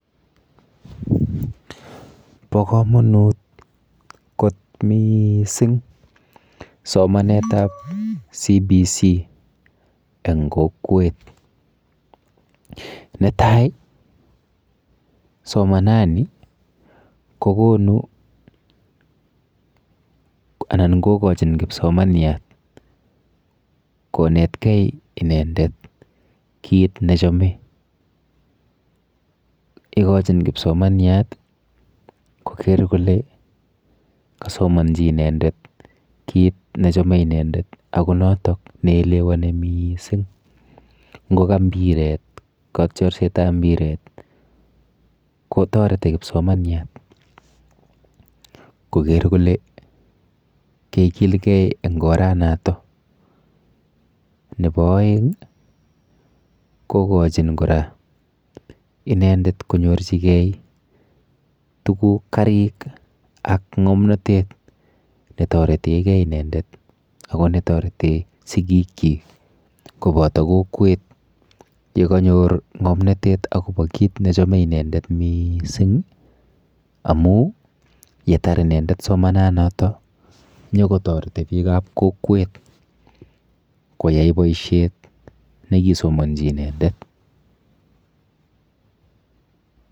Po komonut kot miising somanetap CBC eng kokwet. Netai somanani kokonu anan kokochin kipsomnanyat konetkei inendet kit nechome. Ikochin kipsomanyat koker kole kasomonji inendet kit nechome inendet ako notok neelewane miising, nkoka mpiret, katyarsetap mpiret kotoreti kipsomanyat koker kole kekilgei eng oranoto. Nepo oeng kokochin inendet konyorchigei tuguk karik ak ng'omnotet netoretegei inendet ako netorete sigikchi kopoto kokwet yekanyor ng'omnotet akopo kit nechome inendet miising amu yetar inendet somanonoto nyokotareti biikap kokwet koyai boishet nekisomonji inendet.